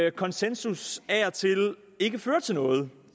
at konsensus af og til ikke fører til noget